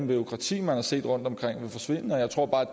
bureaukrati man har set rundtomkring